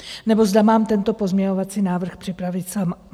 Nebo zda mám tento pozměňovací návrh připravit sama.